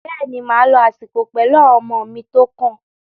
Bẹ́ẹ̀ ni, màá lo àsìkò pẹ̀lú àwọn ọmọ mi tó kàn